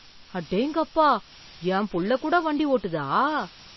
அடேங்கப்பா என் புள்ள கூட வண்டி ஓட்டதா!